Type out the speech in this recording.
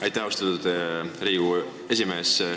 Aitäh, austatud Riigikogu esimees!